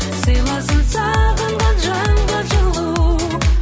сыйласын сағынған жанға жылу